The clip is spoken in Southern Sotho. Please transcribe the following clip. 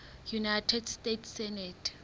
united states senate